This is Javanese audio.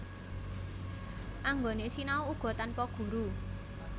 Anggone sinau uga tanpa guru